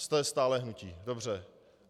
Jste stále hnutí, dobře.